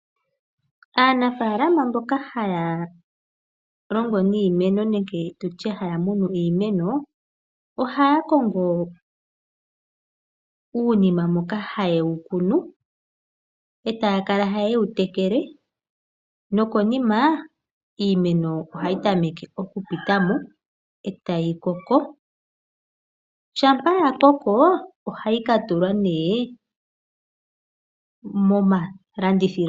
Aanafaalama mboka haya longo niimeno nenge tu tye haya munu iimeno, ohaya kongo uunima moka ha ya kunu iimeno yawo, taya kala ta ye yi tekele, nokonima ta yi mene , e ta yi koko. Shampa ya koko, ohayi falwa momalandithilo.